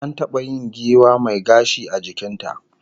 An taba yin giwa mai gashi a jikin ta